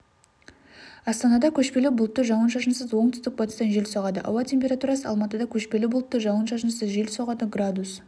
астанада көшпелі бұлтты жауын-шашынсыз оңтүстік-батыстан жел соғады ауа температурасы алматыда көшпелі бұлтты жауын-шашынсыз жел соғады градус